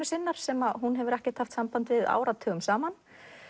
sinnar sem hún hefur ekkert haft samband við áratugum saman